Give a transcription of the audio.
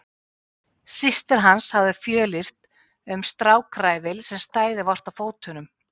Systir hans hafði fjölyrt um strákræfil sem stæði vart á fótunum.